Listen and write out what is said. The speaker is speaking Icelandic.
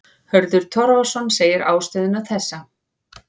Hörður Torfason segir ástæðuna þessa.